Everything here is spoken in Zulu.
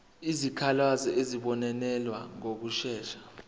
izikhalazo zizobonelelwa ngokushesha